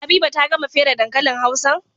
Habiba ta gama fere dankalin hausan?